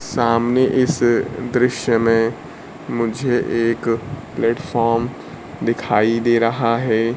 सामने इस दृश्य में मुझे एक प्लेटफार्म दिखाई दे रहा है।